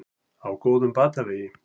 Á góðum batavegi